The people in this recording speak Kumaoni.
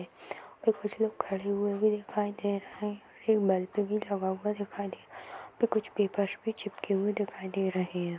और कुछ लोग खड़े हुए भी दिखाई दे रहें हैं एक बल्ब भी लगा हुआ दिखाई दे रहा है यहाँ पे कुछ पेपर भी चिपके हुए दिखाई दे रहें हैं।